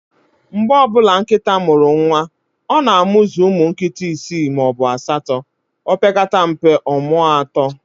Mgbe ọbụla nkịta mụrụ nwa, ọ na amuzu ụmụ nkịta isi maọbụ asatọ, opekata mpe, ọmụọ atọ